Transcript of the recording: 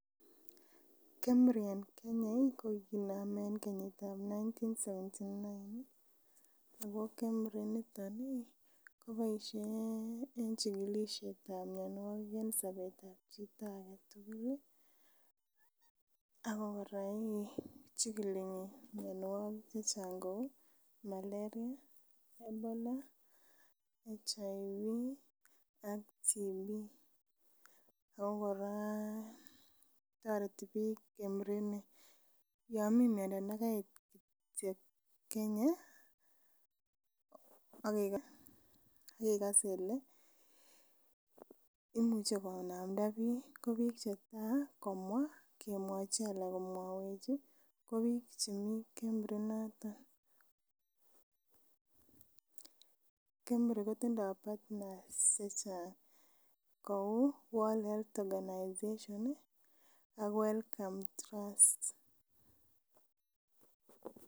Kenya Medical Research Institute en Kenya ko kikinome en kenyit ab nineteen seventy nine ako Kenya Medical Research Institute initon ih koboisie en chikilisiet ab mionwogik en sobetab chito aketugul ih ak kora ih chikili mionwogik chechang kou malaria, Ebola, Human Immunodeficiency Disease ak tuberculosis ako kora toreti biik Kenya Medical Research Institute ni yon mii miondo nekait kityo Kenya akekaa kele imuche konamda biik, ko biik chetaa komwaa kemwochi ana komwech ih ko biik chemii Kenya Medical Research Institute inoton Kenya Medical Research Institute kotindoo partners chechang kou World Health Organization ak Welcome Trust